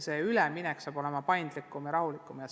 Üleminek saab seega olema paindlikum ja rahulikum.